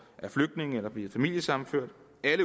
flygtninge eller bliver familiesammenført